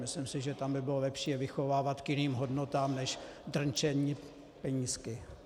Myslím si, že tam by bylo lepší je vychovávat k jiným hodnotám než drnčení penízky.